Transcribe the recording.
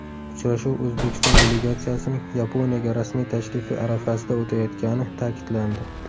Uchrashuv O‘zbekiston delegatsiyasining Yaponiyaga rasmiy tashrifi arafasida o‘tayotgani ta’kidlandi.